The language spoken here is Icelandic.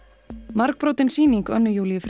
margbrotin sýning Önnu Júlíu